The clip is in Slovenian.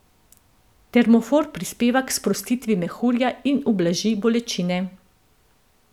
Termofor prispeva k sprostitvi mehurja in ublaži bolečine.